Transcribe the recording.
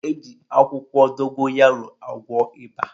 Eji akwụkwọ dogoyaro agwọ ịba.